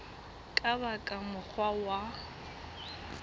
ka ba ka mokgwa wa